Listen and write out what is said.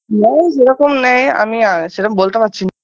না সেরকম নেই আমি আ সেরম বলতে পাচ্ছি না